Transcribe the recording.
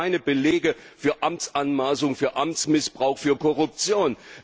Es gibt keine Belege für Amtsanmaßung, für Amtsmissbrauch, für Korruption.